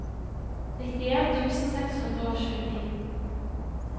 nittien tusen seks hundre og tjueni